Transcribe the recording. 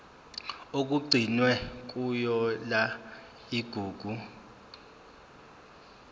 okugcinwe kuyona igugu